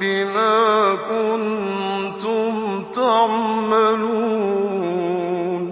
بِمَا كُنتُمْ تَعْمَلُونَ